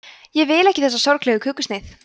ég vil ekki þessa sorglegu kökusneið